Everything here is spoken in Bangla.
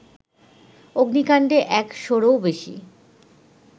অগ্নিকাণ্ডে একশোরও বেশি